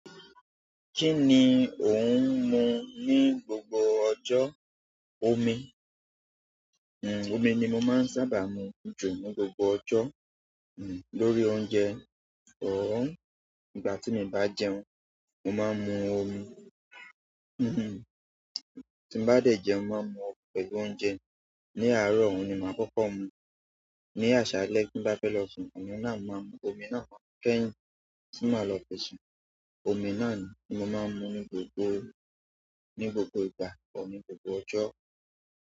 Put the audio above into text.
Kí ni ò ń mu ní gbogbo ọjọ? Omí, omi ni mó máa n sábà mú jù ni gbogbo ọjọ lórí oúnjẹ ìgbà tí mi bá jẹun mo máa mú omi. Ti mo bá dẹ́ jẹun, mo máa ń mu pẹ̀lú oúnjẹ. Ní àárọ̀, òun ni màá kọ́kọ́ mú. Ni àṣálẹ́ tí n bá fẹ́ lọ sùn, oni náà ni ma mu omi náà máa mu kẹ́yìn ti máa lọ fi sùn. Omi náà ni mo máa ń mu ní gbogbo, ní gbogbo ìgbà kọ́ ní gbogbo ọjọ́.